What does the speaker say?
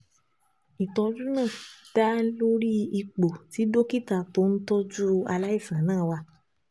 Ìtọ́jú náà dá lórí ipò tí dókítà tó ń tọ́jú aláìsàn náà wà